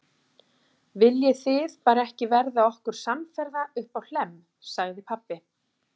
Viljið þið bara ekki verða okkur samferða uppá Hlemm, sagði pabbi.